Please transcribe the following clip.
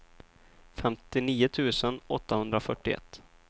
femtionio tusen åttahundrafyrtioett